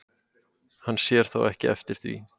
Hann sér þó ekki eftir því